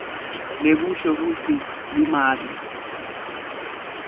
lokusho kutsi limaki